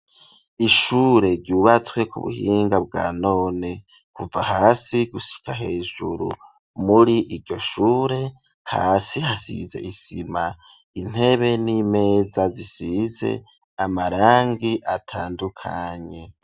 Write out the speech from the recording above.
Ishure ryubatswe ku buhinga bwa none kuva hasi gushika hejuru muri iryo shure hasi hasize isima intebe n'imeza zisize amarangi atandukanye.